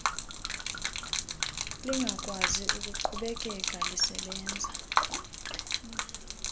lingakwazi ukuqhubekeka lisebenza